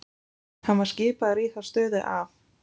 Hann var skipaður í þá stöðu af